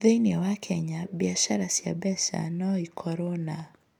Thĩinĩ wa Kenya, biacara cia mbeca no ikorũo na: